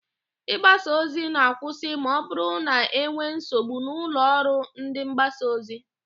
Ị gbasa ozi ga-akwụsị ma ọbụrụ na e nwee nsogbu n'ụlọ ọrụ ndịmgbasaozi